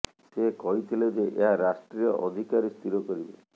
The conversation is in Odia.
ସେ କହିଥିଲେ ଯେ ଏହା ରାଷ୍ଟ୍ରୀୟ ଅଧିକାରୀ ସ୍ଥିର କରିବେ